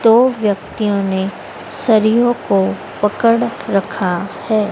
दो व्यक्तियों ने सरियोंको पकड़ रखा है।